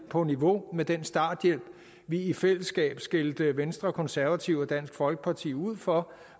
på niveau med den starthjælp vi i fællesskab skældte venstre konservative og dansk folkeparti ud for